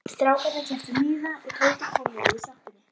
Strákarnir keyptu miða og Tóti kom við í sjoppunni.